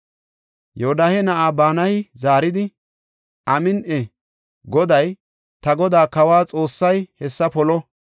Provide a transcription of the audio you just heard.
Yoodahe na7aa Banayi zaaridi, “Amin7i! Goday, ta godaa kawa Xoossay hessa polo!